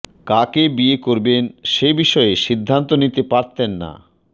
কাকে বিয়ে করবেন সে বিষয়ে সিদ্ধান্ত নিতে পারতেন না